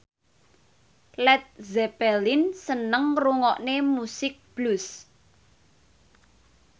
Led Zeppelin seneng ngrungokne musik blues